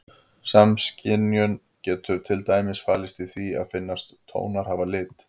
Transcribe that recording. Samskynjun getur til dæmis falist í því að finnast tónar hafa lit.